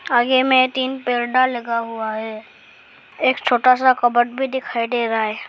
आगे में तीन पर्दा लगा हुआ है एक छोटा सा कबर्ड भी दिखाई दे रहा है।